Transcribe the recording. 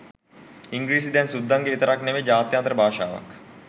ඉංග්‍රීසි දැන් සුද්දගෙ විතරක් නෙවෙයි ජාත්‍යන්තර භාෂාවක්